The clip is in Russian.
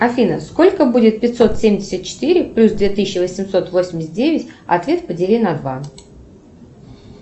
афина сколько будет пятьсот семьдесят четыре плюс две тысячи восемьсот восемьдесят девять ответ подели на два